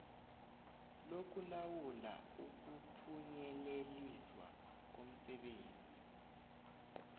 lokulawula ukuphunyeleliswa komsebenzi